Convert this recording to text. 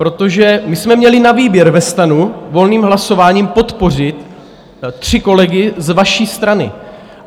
Protože my jsme měli na výběr ve STANu volným hlasováním podpořit tři kolegy z vaší strany.